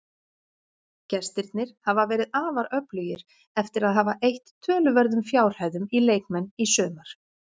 Gestirnir hafa verið afar öflugir eftir að hafa eytt töluverðum fjárhæðum í leikmenn í sumar.